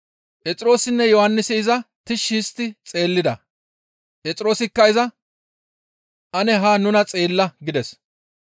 Phexroosinne Yohannisi iza tishshi histti xeellida. Phexroosikka iza, «Ane haa nuna xeella» gides.